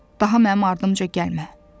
daha mənim ardımca gəlmə.